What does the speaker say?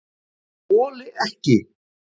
ÉG ÞOLI EKKI